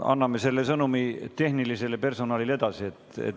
Anname selle sõnumi tehnilisele personalile edasi.